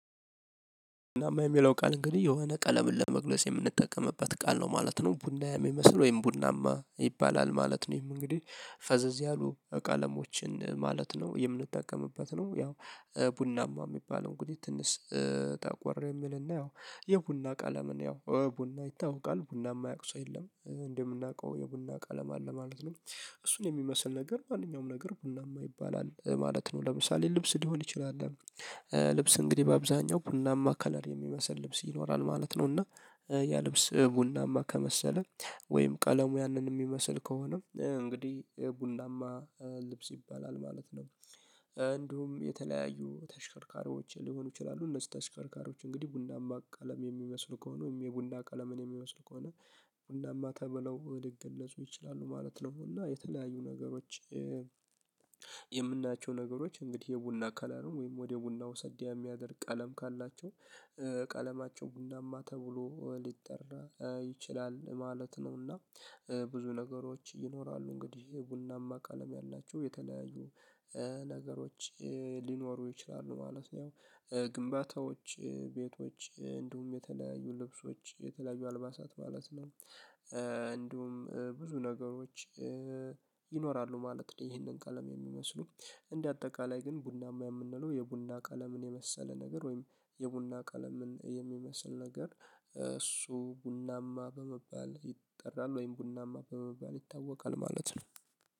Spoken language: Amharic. ቡናማ የሚለው ቃል እንግዲህ የሆነ ቀለምን ለመግለጽ የምንጠቀምበት ቃል ነው ማለት ነው ቡና የሚመስል ወይም ቡናማ ይባላል ማለት ነው። ይሄም እንግዲህ ፈዘዝ ያሉ ቀሞችን ማለት ነው የምንጠቀምበት ነው። ያው ቡናማ የሚባለው እንግዲህ ትንሽ ጠቆር የሚልና ያው የቡና ቀለምን ያው ቡና ይታወቃልቡና የማያቅ ሰው የለም እንደምናውቀው የቡና ቃለም አለ ማለት ነው። እሱን የሚመስል ነገር ማንኛውም ነገር ቡናማ ይባላል ማለት ነው። ለምሳሌ ልብስ ሊሆን ይችላል። ልብስ እንግዲህ በአብዛኛው ቡናማ ከለር የሚመስል ልብስ ይኖራል ማለት ነው። እና ያ ልብስ ቡናማ ከመሰለ ወይም ቀለሙ ያንን የሚመስል ከሆነ እንግዲህ ቡናማ ልብስ ይባላል ማለት ነው። እንዲሁም የተለያዩ ተሽከርካሪዎች ሊሆኑ ይችላሉ። እነዚህ ተሽከርካሪዎች እንግዲህ ቡናማ ቀለም የሚመስሉ ከሆነ ወይም የቡና ቀለምን የሚመስሉ ከሆነ ቡናማ ተብለው ሊገለፁ ይችላሉ ማለት ነው። እና የተለያዩ ነገሮች የምናቸው ነገሮች እንግዲህ የቡና ከለሩ ወይም ወደ ቡና ወሰድ የሚያደርግ ቀለም ካላቸው ቀለማቸው ቡናማ ተብሎ ሊጠራ ይችላል ማለት ነውና። ብዙ ነገሮች ይኖራሉ እንግዲህ ቡናማ ቃለም ያላቸው የተለያዩ ነገሮች ሊኖሩ ይችላሉ ማለት ነው። ግንባታዎች ቤቶች እንዲሁም የተለያዩ ልብሶች የተለያዩ አልባሳት ማለት ነው እንዲሁም ብዙ ነገሮች ይኖራሉ ማለት ነው። ይሄንን ቀለም የሚመስሉ እንደ አጠቃላይ ግን ቡናማ የምንለው የቡና ቀለምን የመሰለ ነገር ወይም የቡና ቀለምን የሚመስል ነገር እሱ ቡናማ በመባል ይጠራል ወይም ቡናማ በመባል ይታወቃል ማለት ነው